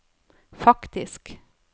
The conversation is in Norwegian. faktisk